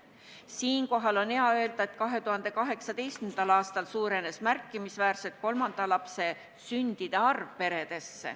Siinkohal on hea öelda, et 2018. aastal sündis peredesse kolmandaid lapsi märkimisväärselt rohkem.